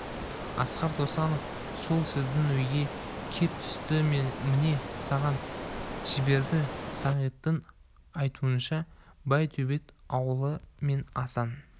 асқар досанов сол сіздің үйге кеп түсті мені саған жіберді сағиттың айтуынша байтөбет ауылы мен асан